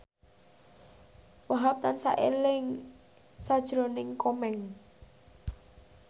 Wahhab tansah eling sakjroning Komeng